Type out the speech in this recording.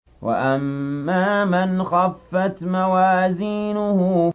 وَأَمَّا مَنْ خَفَّتْ مَوَازِينُهُ